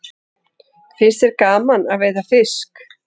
Finnst þér gaman að veiða fisk?